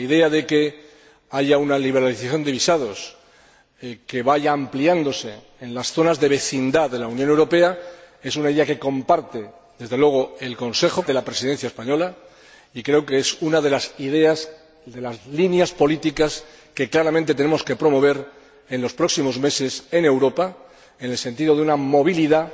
La idea de que haya una liberalización de visados que vaya ampliándose en las zonas de vecindad de la Unión Europea es una idea que comparte, desde luego, el Consejo, comparte la Presidencia española y creo que es una de las líneas políticas que claramente tenemos que promover en los próximos meses en Europa, en el sentido de una movilidad,